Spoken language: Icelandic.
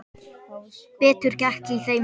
Betur gekk í þeim síðari.